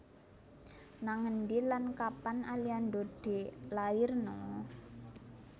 Nang endi lan kapan Aliando dilairno?